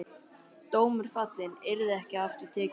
Dómur fallinn, yrði ekki aftur tekinn.